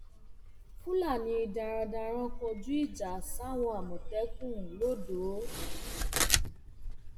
fúlàní darandaran kọjú ìjà sáwọn àmọtẹkùn lodò